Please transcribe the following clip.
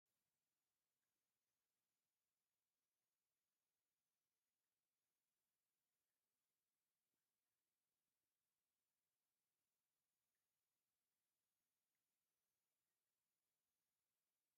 ኣብ እንዳ ኣኽሱም ፅዮን ማርያም ቤተ ክርስቲያን ምእመናን ብተጠንቀቕ ጠጠው ኢሎም ይርአዩ ኣለዉ፡፡ ብኣንፃር እዚ እቲ ይካየድ ዘሎ ስርዓተ ጸሎት ቅዳሴ ወይ ኪዳን ዶ ይኸውን?